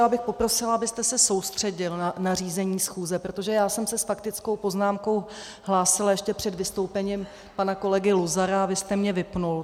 Já bych poprosila, abyste se soustředil na řízení schůze, protože já jsem se s faktickou poznámkou hlásila ještě před vystoupení pana kolegy Luzara a vy jste mě vypnul.